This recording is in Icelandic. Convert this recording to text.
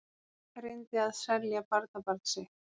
Reyndi að selja barnabarn sitt